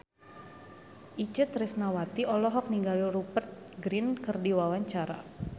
Itje Tresnawati olohok ningali Rupert Grin keur diwawancara